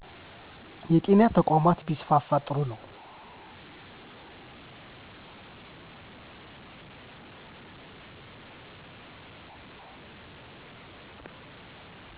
የጤና ተቋማት ቢስፈፉ ጥሩ ነው